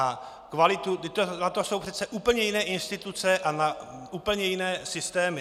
Vždyť na to jsou přece úplně jiné instituce a úplně jiné systémy.